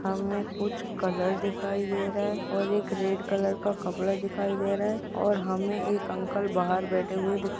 हमे कुछ कलर दिखाई दे रहा है और एक रेड कलर का कपड़ा दिखाई दे रहा है और हमे एक अंकल बहार बैठे हुवे दिखाई--